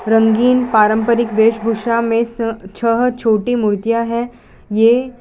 रंगीन पारंपरिक वेशभूषा में स छह छोटी मूर्तियां है ये --